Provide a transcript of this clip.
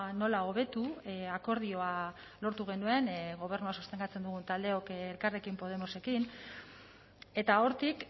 nola hobetu akordioa lortu genuen gobernua sostengatzen dugun taldeok elkarrekin podemosekin eta hortik